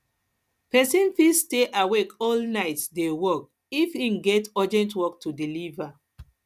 persin fit stay awake all night de work if im get urgent work to deliever